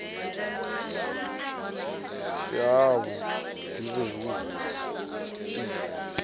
si havhu ḓi he hu